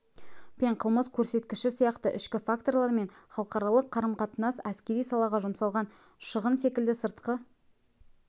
пен қылмыс көрсеткіші сияқты ішкі факторлар мен халықаралық қарым-қатынас әскери салаға жұмсалған шығын секілді сыртқы